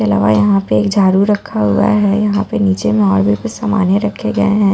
के अलावा यहां पे एक झाड़ू रखा हुआ है यहां पे नीचे में और भी कुछ सामाने रखे गए हैं।